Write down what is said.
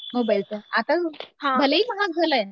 मोबाईलचा आता भले ही महाग झालाय